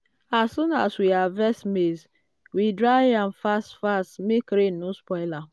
as soon as we harvest maize we dry am fast-fast make rain no spoil am.